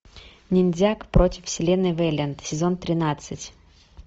ниндзяк против вселенной вэлиант сезон тринадцать